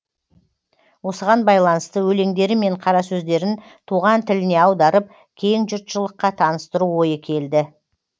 осыған байланысты өлеңдері мен қарасөздерін туған тіліне аударып кең жұртшылыққа таныстыру ойы келді